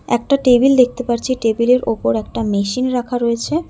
একটা টেবিল দেখতে পারছি টেবিল -এর ওপর একটা মেশিন রাখা রয়েছে।